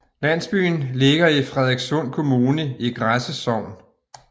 Landsbyen ligger i Frederikssund Kommune i Græse Sogn